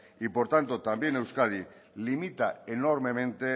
y por tanto también a euskadi limita enormemente